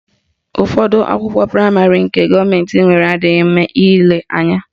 Ụfọdụ ụlọakwụkwọ praịmarị nke gọọmentị nwere adịghị mma ile anya